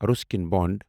Ruskin بوٛند